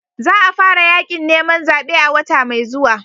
Za a fara yakin neman zabe a wata mai zuwa.